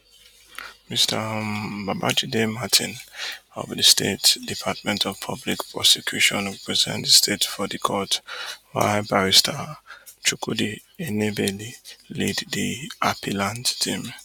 mr um babajide martin of di state department of public prosecution represent di state for di court while barister chukwudi enebeli lead di appellant team